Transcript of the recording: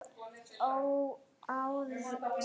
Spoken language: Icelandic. Hvað hafði hann nú gert?